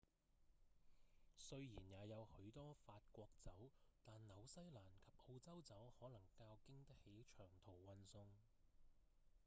雖然也有許多法國酒但紐西蘭及澳洲酒可能較經得起長途運送